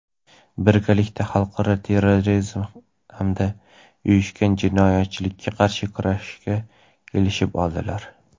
birgalikda xalqaro terrorizm hamda uyushgan jinoyatchilikka qarshi kurashishga kelishib oldilar.